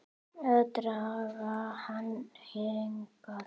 Að draga hann hingað.